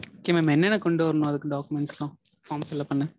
okay mam என்னென்ன கொண்டு வரனும்? அதுக்கு documents லாம் form fill up பண்ண?